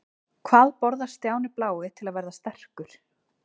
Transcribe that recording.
Hvað borðar Stjáni blái til að verða sterkur?